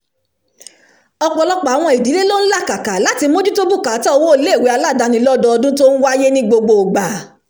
ọ̀pọ̀lọpọ̀ àwọn ìdílé ló ń làkàkà láti mójútó bùkátà owó ilé-ìwé aládáni lọ́dọọdún tó ń wáyé ní gbogbo ìgbà